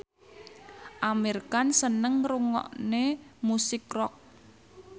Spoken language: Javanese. Amir Khan seneng ngrungokne musik rock